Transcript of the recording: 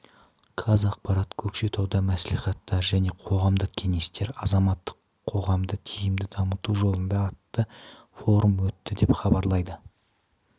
казақпарат көкшетауда мәслихаттар және қоғамдық кеңестер азаматтық қоғамды тиімді дамыту жолында атты форум өтті деп хабарлайды